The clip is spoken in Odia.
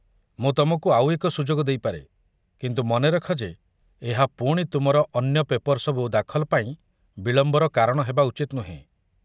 ମୁଁ ତମକୁ ଆଉ ଏକ ସୁଯୋଗ ଦେଇପାରେ, କିନ୍ତୁ ମନେରଖ ଯେ ଏହା ପୁଣି ତୁମର ଅନ୍ୟ ପେପର୍ ସବୁ ଦାଖଲ ପାଇଁ ବିଳମ୍ବର କାରଣ ହେବା ଉଚିତ୍ ନୁହେଁ।